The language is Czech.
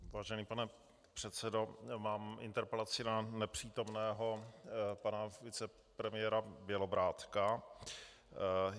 Vážený pane předsedo, mám interpelaci na nepřítomného pana vicepremiéra Bělobrádka.